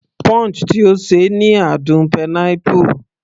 Punch tí ó ṣe ni àádùn pineapple